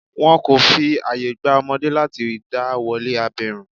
Wọn kò fi àye gba ọmọdé láti dá wolé abirùn.